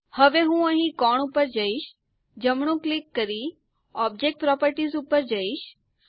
હવે હું અહીં કોણ ઉપર જઈશ જમણું ક્લિક કરી ઓબ્જેક્ટ પ્રોપર્ટીઝ ઉપર જાઓ